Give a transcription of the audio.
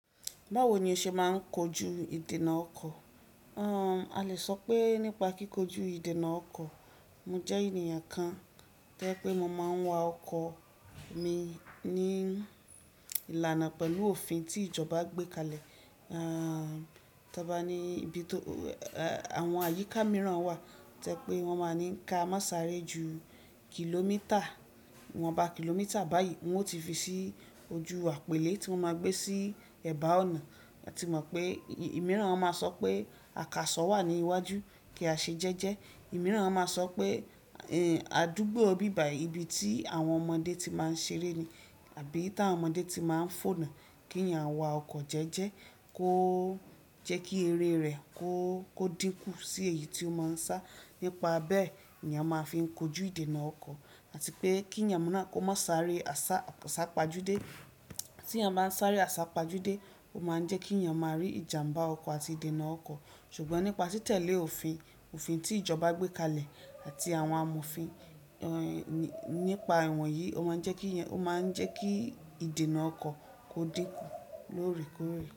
Báwo ni o ṣe máa ń kojú ìdènà ọkọ̀? A lè sọ pé nípa kíkojú ìdènà ọkọ̀, mo jẹ́ ènìyàn kan tẹ́ pé mo máa ń wa ọkọ̀ mi ní ìlànà pẹ̀lú òfin tí ìjọba gbé kalẹ̀. Tí a bá ní ibi tó àwọn àyíká mìíràn wà, tó yẹ pé wọ́n máa ní ká máa sáré ju kìlómítà, iwọ́n bá kìlómítà báyìí wọn ó ti fi sí ojú àpèlé tí mo máa gbé sí ẹ̀bá ọ̀nà. A ti mọ̀ pé ìmíràn máa sọ pé àkàsọ̀ wà ní iwájú kí a ṣe jẹ́jẹ́. Ìmíràn wọn máa sọ pé àdúgbò bibayii ìbí tí àwọn ọmọdé ti máa ń ṣeré ni àbí tí àwọn ọmọdé ti máa ń fònà kí èyàn wa ọkọ̀ jẹ́jẹ́ kó jẹ́ kí eré rẹ̀ kó dínkù sí èyí tí ó máa ń sá. Nípa bẹ́ẹ̀, ni eyan máa fin kojú ìdènà ọkọ̀ àti pé kí èyàn náà kó má sáré àsá pajúdé. Tí ènìyàn bá ń sáré àsá pajúdé, ó máa ń jẹ́ kí ènìyàn máa rí ìjàmbá ọkọ̀ àti ìdènà ọkọ̀. Ṣùgbọ́n nípa títẹ̀lé òfin, òfin tí ìjọba gbé kalẹ̀ àti àwọn àmùfin nípa ìwọ̀nyí ó máa ń jẹ́ kí, ó máa ń jẹ́ kí ìdènà ọkọ̀ ó dínkù lóòrèkóòrè.